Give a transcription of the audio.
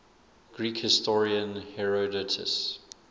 greek historian herodotus